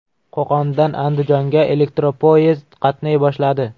Qo‘qondan Andijonga elektropoyezd qatnay boshladi.